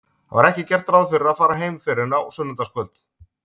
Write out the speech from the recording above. Það var ekki gert ráð fyrir að fara heim fyrr en á sunnudagskvöld.